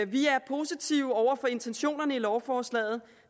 vi er positive over for intentionerne i lovforslaget